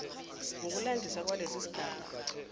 ngokulandisa kwalesi sigaba